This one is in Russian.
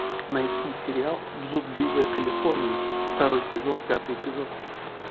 найти сериал блудливая калифорния второй сезон пятый эпизод